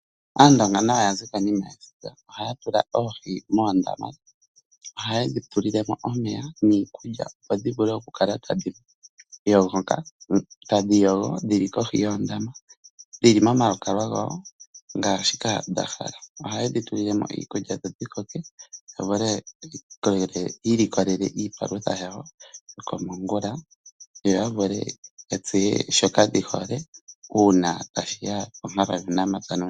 Aandonga nayo ya zi konima yesiga. Ohaya tula oohi moondama. Ohaye dhi tulile mo omeya niikulya, opo dhi vule okukala tadhi yogo dhi li kohi yoondama, dhi li momalukalwa dhago ngaashika dha hala. Ohaye dhi tulile mo iikulya dho dhi koke ya vule yi ilikolele iipalutha yawo yokomongula yo ya vule ya tseye shoka dhi hole uuna tashi ya ponkalo yuunamapya nuuniimuna.